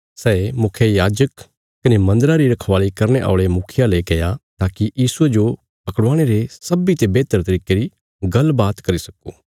सै मुखियायाजक कने मन्दरा री रखवाल़ी करने औल़े मुखियां ले गया ताकि यीशुये जो पकड़ाणे रे सब्बीं ते बेहतर तरिके री गल्ल बात करी सक्को